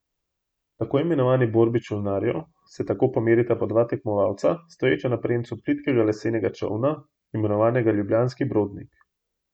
V tako imenovani borbi čolnarjev se tako pomerita po dva tekmovalca stoječa na premcu plitkega lesenega čolna, imenovanega ljubljanski brodnik.